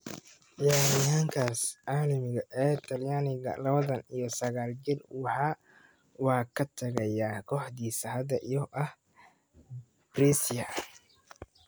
Ciyaaryahankaas caalamiga ee Talyaaniga, lawatan iyo saqal jir, waa ka tagaya kooxdiisa hadda oo ah Brescia.